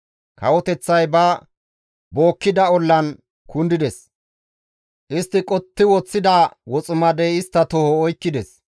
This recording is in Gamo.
Kawoteththay ba bookkida ollan kundides. Istti qotti woththida woximadey istta toho oykkides.